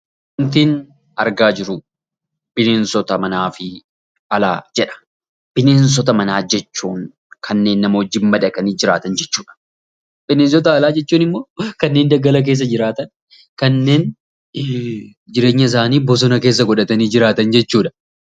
Kan nuti argaa jirruu bineensota manaa fi bosonaa jedha. Bineensota manaa jechuun kanneen nama waliin madaqanii jiraatan jechuudha. Bineensota alaa jechuun immoo kanneen daggala keessaa jiraatan kanneen jireenya isaanii bosona keessa godhatanii jiraatanii jechuudha.